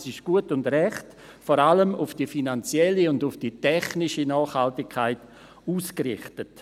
Dies ist gut und recht, aber vor allem auf die finanzielle und die technische Nachhaltigkeit ausgerichtet.